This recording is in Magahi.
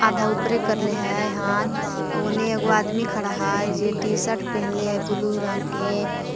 आधा उपरे करले हय हाथ आ ओने एगो आदमी खड़ा हय जे टीशर्ट पेन्हले ह ब्लू रंग के।